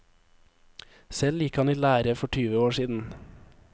Selv gikk han i lære for tyve år siden.